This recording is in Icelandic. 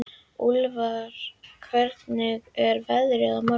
Úlfar, hvernig er veðrið á morgun?